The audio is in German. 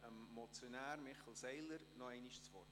Ich gebe dem Motionär, Michel Seiler, nochmals das Wort.